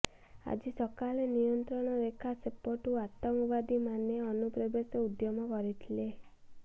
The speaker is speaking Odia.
ଆଜି ସକାଳେ ନିୟନ୍ତ୍ରଣ ରେଖା ସେପଟୁ ଆତଙ୍କବାଦୀ ମାନେ ଅନୁପ୍ରବେଶ ଉଦ୍ୟମ କରିଥିଲେ